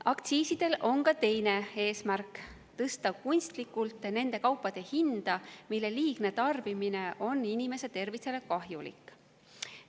Aktsiisidel on ka teine eesmärk: tõsta kunstlikult nende kaupade hinda, mille liigne tarbimine on inimese tervisele kahjulik.